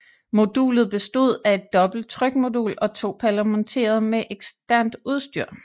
Modulet bestod af et dobbelt trykmodul og to paller monteret med eksternt udstyr